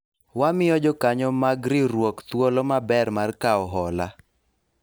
wamiyo jokanyo mag riwruok thuolo maber mar kawo hola